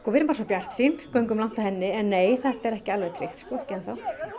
erum bara svo bjartsýn göngum langt á henni en nei þetta er ekki alveg tryggt ekki enn þá